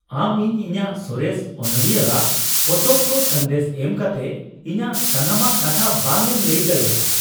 ᱟᱢ ᱤᱧ ᱤᱧᱟᱹᱜ ᱥᱚᱨᱮᱥ ᱚᱱᱚᱞᱤᱭᱟᱹᱟᱜ ᱯᱚᱛᱚᱵ ᱠᱚ ᱥᱟᱸᱫᱮᱥ ᱮᱢ ᱠᱟᱛᱮ ᱤᱧᱟᱹᱜ ᱥᱟᱱᱟᱢᱟᱜ ᱠᱟᱛᱷᱟ ᱵᱟᱝ ᱮᱢ ᱞᱟᱹᱭ ᱫᱟᱲᱮᱹᱭᱟᱜᱼᱟ ᱾